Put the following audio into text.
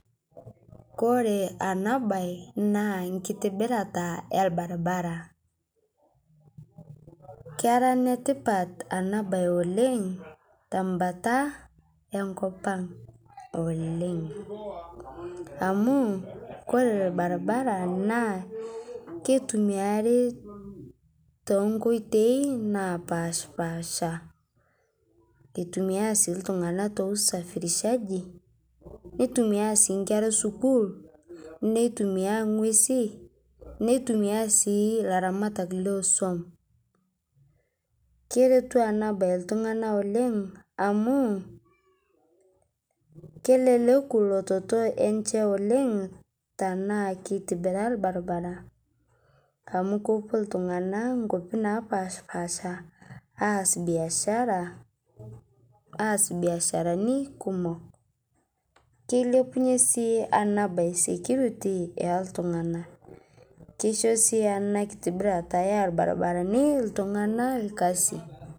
Kore ana baye naa nkitibirata e lbarabara. Keraa netipaat ana baye netipaat oleng ta mbaata e nkopang' oleng amu kore lbarabara naa keitumiari te nkotei napashpasha. Etumia sii ltung'ana to usafirishaji, neitumia sii nkeera e sukuul, netumia ng'uesi, neitumia sii laaramat lo soum. Keretuu ana baye ltung'ana oleng amu keleleku lototoo enchee e oleng tana keitibira lbarabara amu kopoo ltung'ana nkopii napashpasha aas biashara, aas biasharani kumook. Keilebunye sii ana baye security e ltung'ana. Keishoo sii ana nkitibirata e lbarabarani ltung'ana lkasi.